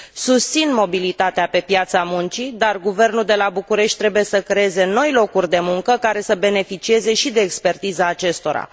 Susțin mobilitatea pe piața muncii, dar guvernul de la București trebuie să creeze noi locuri de muncă care să beneficieze și de expertiza acestora.